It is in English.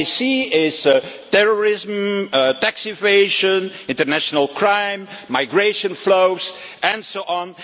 What they see is terrorism, tax evasion, international crime, migration flows and so on.